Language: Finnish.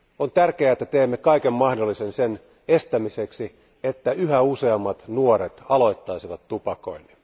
On tärkeää, että teemme kaiken mahdollisen sen estämiseksi, että yhä useammat nuoret aloittaisivat tupakoinnin.